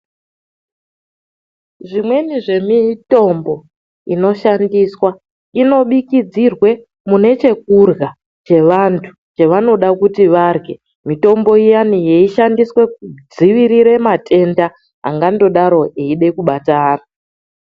Zvimweni zvemitombo inoshandiswa inobikidzirirwe munechekurya chevantu chevanoda kuti varye mitombo iyana yeishandiswe kudzivirira matenda angandodaro eida kubata vantu.